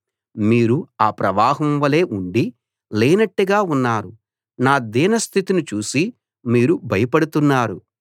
మీరు ఆ ప్రవాహం వలే ఉండీ లేనట్టుగా ఉన్నారు నా దీన స్థితిని చూసి మీరు భయపడుతున్నారు